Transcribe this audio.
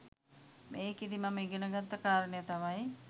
මේකෙදි මම ඉගෙන ගත්ත කාරණය තමයි